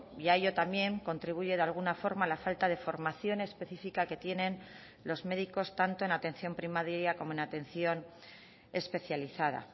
y a ello también contribuye de alguna forma la falta de formación específica que tienen los médicos tanto en atención primaria como en atención especializada